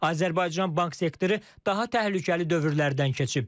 Azərbaycan bank sektoru daha təhlükəli dövrlərdən keçib.